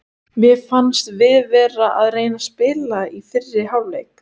Mér fannst við vera að reyna að spila í fyrri hálfleik.